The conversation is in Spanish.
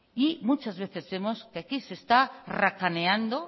muchas veces vemos que aquí se está racaneando